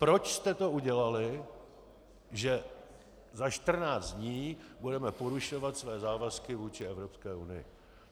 Proč jste to udělali, že za 14 dní budeme porušovat své závazky vůči Evropské unii?